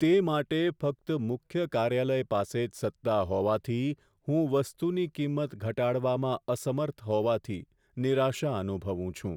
તે માટે ફક્ત મુખ્ય કાર્યાલય પાસે જ સત્તા હોવાથી હું વસ્તુની કિંમત ઘટાડવામાં અસમર્થ હોવાથી નિરાશા અનુભવું છું.